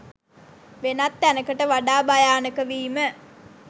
වෙනත් තැනකට වඩා භයානක වීම